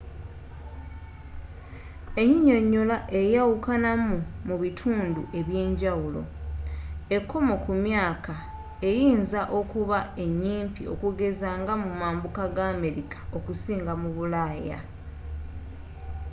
ennyinnyonnyola eyawukanamu mu bitundu ebyenjawulo ekkomo ku myaka eyinza okuba enyimpi okugeza nga mu mambuka ga amerika okusinga mu bulaaya